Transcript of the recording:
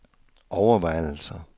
overvejelser